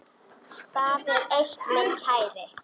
Það er eitt, minn kæri.